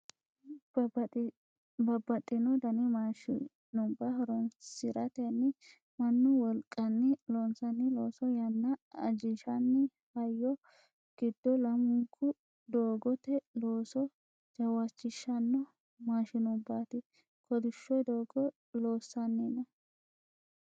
babbaxxino dani maashinubba horonsiratenni mannu wolqanni loonsanni looso yanna ajinshanni hayyo giddo lamunku doogote looso jawaachishshanno maashinubbaati kolishsho doogo loossanni no